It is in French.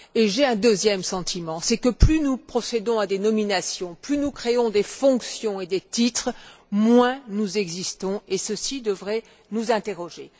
Et j'ai un deuxième sentiment, c'est que plus nous procédons à des nominations, plus nous créons des fonctions et des titres, moins nous existons, et ceci devrait nous inciter à nous interroger.